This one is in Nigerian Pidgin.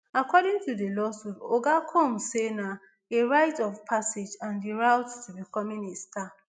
according to di lawsuit oga combs say na a rite of passage and di route to becoming a star